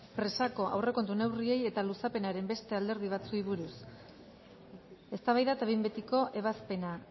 presako aurrekontu neurriei eta luzapenaren beste alderdi batzuei buruz eztabaida eta behin betiko ebazpena